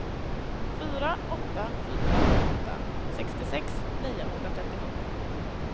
fyra åtta fyra åtta sextiosex niohundratrettiosju